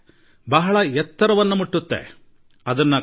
ಅವು ಆಕಾಶದೆತ್ತರಕ್ಕೆ ಹಾರಬಲ್ಲವು